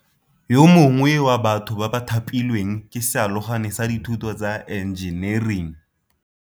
Yo mongwe wa batho ba ba thapilweng ke sealogane sa dithuto tsa enjenering.